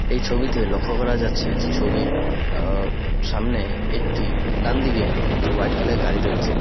এই ছবিতে লক্ষ করা যাচ্ছে যে ছবির আ সামনে একটি ডানদিকে একটি হোয়াইট কালার -এর গাড়ি রয়েছে।